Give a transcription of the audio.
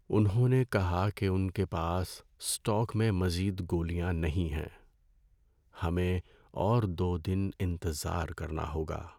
انہوں نے کہا کہ ان کے پاس اسٹاک میں مزید گولیاں نہیں ہیں۔ ہمیں اور دو دن انتظار کرنا ہوگا۔